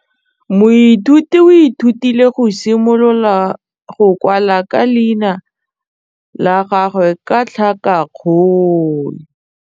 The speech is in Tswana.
Moithuti o ithutile go simolola go kwala leina la gagwe ka tlhakakgolo.